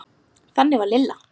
Þannig var Lilla.